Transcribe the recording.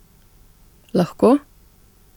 Lahko?